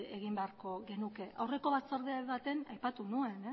egin beharko genuke aurreko batzorde baten aipatu nuen